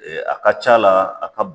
A ka c'a la a ka